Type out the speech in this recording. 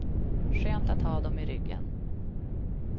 Skönt att ha dom i ryggen.